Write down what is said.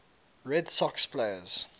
red sox players